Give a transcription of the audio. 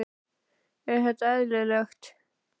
Er þetta eðlilegt?